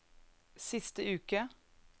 siste uke